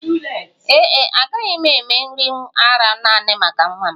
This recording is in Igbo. Ee e, agaghị m eme nri ara nanị maka nwa m